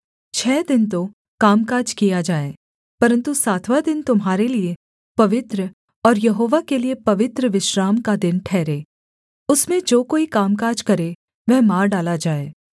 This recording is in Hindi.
छः दिन तो कामकाज किया जाए परन्तु सातवाँ दिन तुम्हारे लिये पवित्र और यहोवा के लिये पवित्र विश्राम का दिन ठहरे उसमें जो कोई कामकाज करे वह मार डाला जाए